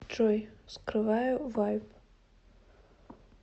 джой вскрываю вайб